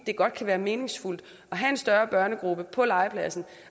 kan godt være meningsfuldt at have en større børnegruppe på legepladsen